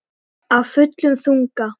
Af fullum þunga.